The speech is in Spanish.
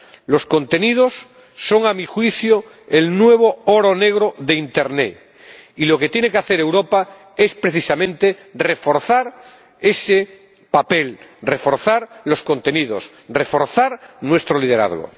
Los contenidos son, a mi juicio, el nuevo oro negro de internet, y lo que tiene que hacer Europa es precisamente reforzar ese papel, reforzar los contenidos, reforzar nuestro liderazgo.